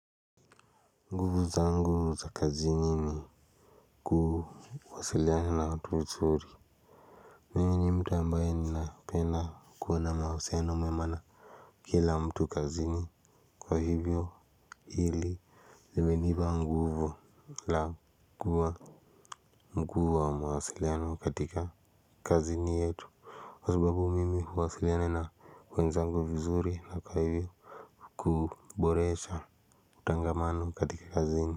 Nguvu zangu za kazini ni kuwasiliana na watu vizuri. Mimi ni mtu ambaye ni napenda kuwa na mahusiano mema na kila mtu kazini kwa hivyo hili limenipa nguvu la kuwa mkuu wa mawasiliano katika kazini yetu kwa sababu mimi huwasiliana na wenzangu vizuri na kwa hivyo kuboresha utangamano katika kazini.